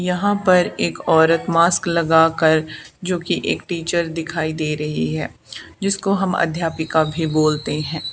यहाँ पर एक औरत मास्क लगा कर जो कि एक टीचर दिखाई दे रही है जिसको हम अध्यापिका भी बोलते है।